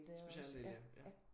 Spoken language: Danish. Specialdel ja ja